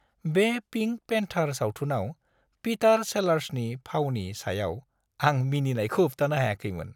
बे pink panther सावथुनाव पिटार सेलार्सनि फावनि सायाव आं मिनिनायखौ होबथानो हायाखैमोन।